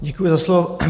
Děkuji za slovo.